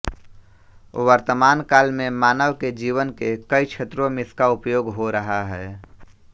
वर्तमान काल में मानव के जीवन के कई क्षेत्रों में इसका उपयोग हो रहा है